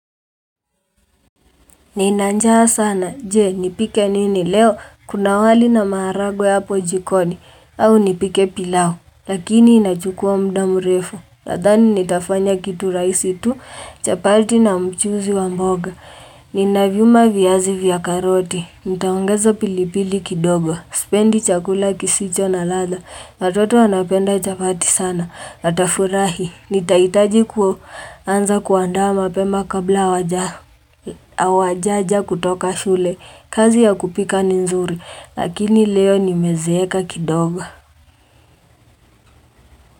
Nina njaa sana, je, nipike nini leo, kuna wali na maharagwe hapo jikoni, au nipike pilau, lakini inachukua muda mrefu. Nadhani nitafanya kitu rahisi tu, chapati na mchuzi wa mboga, Ninavyuma viazi vya karoti, nitaongeza pilipili kidogo, sipendi chakula kisicho na ladha, watoto wanapenda chapati sana, watafurahi, nitahitaji ku. Anza kuandaa mapema kabla hawajaja kutoka shule, kazi ya kupika ni nzuri, lakini leo nimezeeka kidogo.